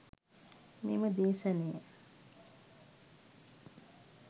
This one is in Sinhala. මෙම දේශනය